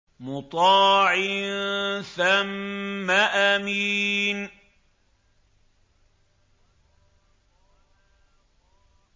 مُّطَاعٍ ثَمَّ أَمِينٍ